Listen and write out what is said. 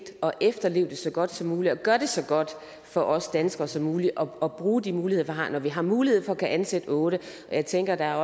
at efterleve det så godt som muligt og gøre det så godt for os danskere som muligt og bruge de muligheder vi har når vi har mulighed for at kunne ansætte otte og jeg tænker at der